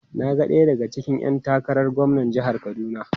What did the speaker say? Na ga daya daga cikin ‘yan takarar gwamnan jihar Kaduna.